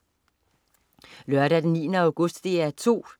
Lørdag den 9. august - DR 2: